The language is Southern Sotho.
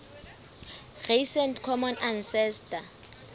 recent common ancestor